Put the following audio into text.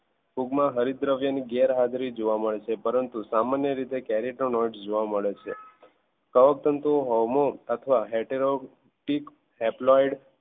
ફૂગમાં હરિતદ્રવ્ય ની ગેરહાજરી જોવા મળે છે પરંતુ સામાન્ય રીતે carotenoid જોવા મળે છે કવકતંતુ homo અથવા